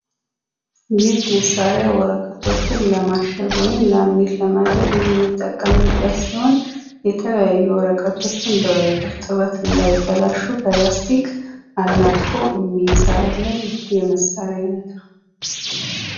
ይህ መሳርያ ወረቀቶችን ለማሸግ ወይም ላምኔት ለማድረግ የምንጠቀምበት ሲሆን የተለያዩ ወረቀቶችን በእርጥበት እንዳይበላሹ በላስቲክ አላጥቆ የሚሰራልን የመሳርያ አይነት ነው።